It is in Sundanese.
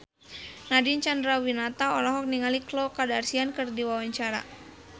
Nadine Chandrawinata olohok ningali Khloe Kardashian keur diwawancara